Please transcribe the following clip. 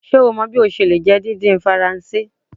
Ṣe o mọ bi o ṣe le jẹ didin Faranse?